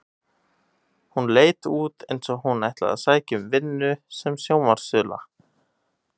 Hún leit út eins og hún ætlaði að sækja um vinnu sem sjónvarpsþula.